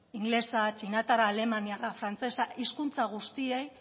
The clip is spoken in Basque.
ingelesa txinatarra alemaniarra frantsesa hizkuntza guztiei